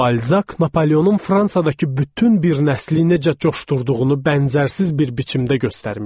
Balzak Napoleonun Fransadakı bütün bir nəsli necə coşdurduğunu bənzərsiz bir biçimdə göstərmişdi.